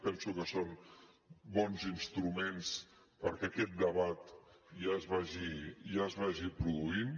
penso que són bons instruments perquè aquest debat ja es vagi produint